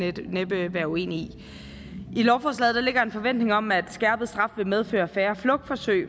være uenige i i lovforslaget ligger der en forventning om at skærpet straf vil medføre færre flugtforsøg